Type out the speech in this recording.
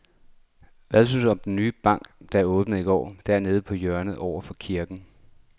Hvad synes du om den nye bank, der åbnede i går dernede på hjørnet over for kirken?